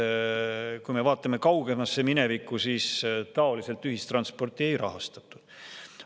Kui me vaatame kaugemasse minevikku, siis niimoodi ühistransporti ei rahastatud.